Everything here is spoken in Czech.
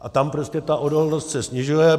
A tam prostě ta odolnost se snižuje.